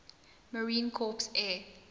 marine corps air